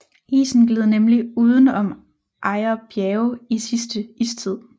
Isen gled nemlig uden om Ejer Bjerge i sidste istid